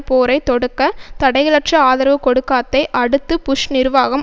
போரை தொடக்க தடைகளற்ற ஆதரவு கொடுக்காத்தை அடுத்து புஷ் நிர்வாகம்